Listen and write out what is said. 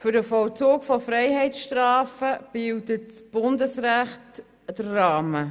Für den Vollzug von Freiheitsstrafen bildet das Bundesrecht den Rahmen.